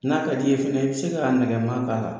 N'a ka di ye fɛnɛ i bɛ se k'a nɛgɛma k'a la